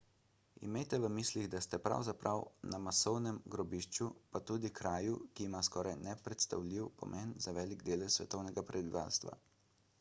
imejte v mislih da ste pravzaprav na masovnem grobišču pa tudi kraju ki ima skoraj nepredstavljiv pomen za velik delež svetovnega prebivalstva